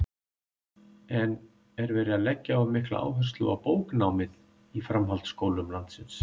En er verið að leggja of mikla áherslu á bóknámið í framhaldsskólum landsins?